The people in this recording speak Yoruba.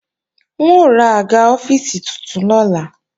N ó ra àga ọ́fíìsì titun lọ́la